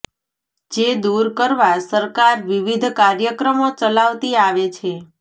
જે દુર કરવા સરકાર વિવિધ કાર્યક્રમો ચલાવતી આવે છે